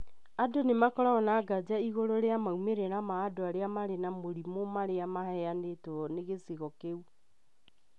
Andũ nĩ makoragwo na nganja igũrũ rĩa maumĩrĩra ma andũ arĩa marĩ na mũrimũ marĩa maheanĩtwo nĩ gĩcigo kĩu.